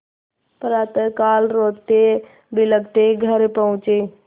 प्रातःकाल रोतेबिलखते घर पहुँचे